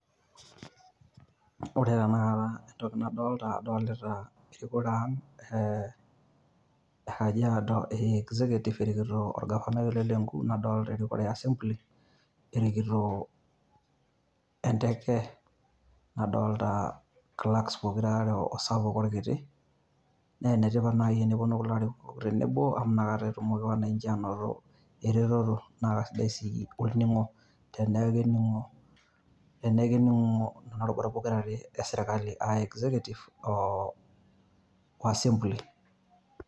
Ore tanakata entoki nadolita, adolta erikore ang' e Kajiado e executive erikito orgavanai ole Lenku, nadolta erikore e assembly [cs erikito enteke. Nadolta clerks pokira are, osapuk orkiti. Na enetipat nai teneponu kulo arikok tenebo amu nakata etumoki wananchi anoto eretoto na kasidai si otenemu, teneeku kening'o, teneeku kening'o kuna rubat pokira are esirkali, ah executive o assembly.